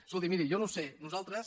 escolti miri jo no ho sé nosaltres